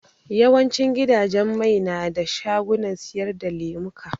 Yawan cin gidajen mai na da shagunan siyar da lemuka